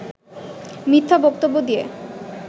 মিথ্যা বক্তব্য দিয়ে